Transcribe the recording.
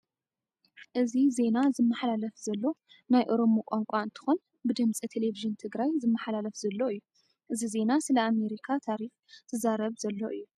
እዚ ዜና ዝመሓለፍ ዘሎ ናይ ኦሮሞ ቋንቋ እንትኮን ብድምፂ ተሌብዥን ትግራይ ዝመሓላለፍ ዘሎ እዩ። እዚ ዜና ስለ ኣመሪካ ታሪፍ ዝዛረብ ዝዛረብ ዘሎ እዩ።